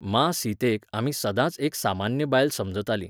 मां सीतेक आमी सदांच एक सामान्य बायल समजतालीं.